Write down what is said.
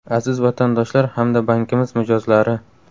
Aziz Vatandoshlar hamda bankimiz mijozlari!